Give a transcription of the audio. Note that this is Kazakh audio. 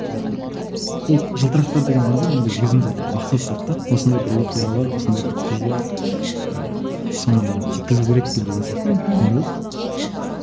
жалпы от жылтырақтар деген әнде менде өзімде бір мақсат болды да осындай бір оқиғалар осындай бір қыз бар ііі соны мен жеткізу керекпін деген сияқты мхм не болды